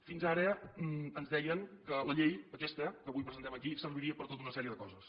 fins ara ens deien que la llei aquesta que avui presentem aquí serviria per tota una sèrie de coses